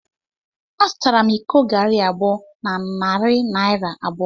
Azụtara m iko garri abụọ na narị naira abụọ.